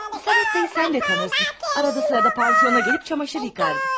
Lizavetta'nı sən də tanıyırsan, arada bir pansiona gəlib camaşır yuyurdu.